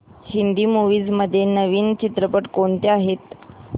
Hindi movies मध्ये नवीन चित्रपट कोणते आहेत